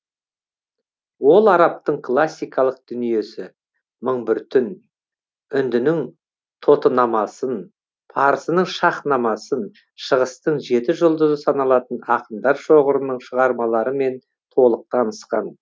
ол арабтың классикалық дүниесі мың бір түнін үндінің тотынамасын парсының шаһнамасын шығыстың жеті жұлдызы саналатын ақындар шоғырының шығармаларымен толық танысқан